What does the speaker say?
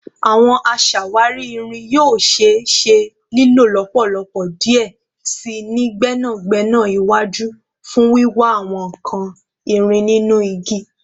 Awọn aṣawari irin yoo ṣee ṣe lilo lọpọlọpọ diẹ sii ni gbẹnagbẹna iwaju fun wiwa awọn nkan irin ninu igi